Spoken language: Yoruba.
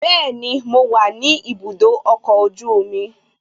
Bẹẹni, mo wa ni ibùdó ọkọ̀ ojú omi